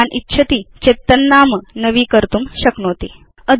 भवान् इच्छति चेत् तन्नाम नवीकर्तुं शक्नोति